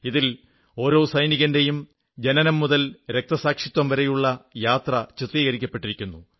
ഇതിൽ ഓരോ സൈനികന്റെയും ജനനം മുതൽ രക്തസാക്ഷിത്വംവരെയുള്ള യാത്ര ചിത്രീകരിക്കപ്പെട്ടിരിക്കുന്നു